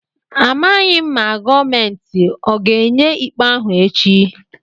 A maghị m ma gọọmentị ọ ga-enye ikpe ahụ echi.